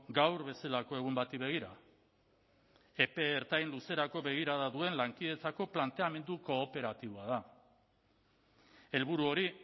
gaur bezalako egun bati begira epe ertain luzerako begirada duen lankidetzako planteamendu kooperatiboa da helburu hori